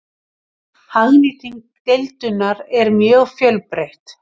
Hagnýting deildunar er mjög fjölbreytt.